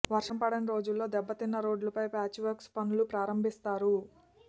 వర్షం పడని రోజుల్లో దెబ్బతిన్న రోడ్లపై ప్యాచ్ వర్క్ పనులు ప్రారంభిస్తారు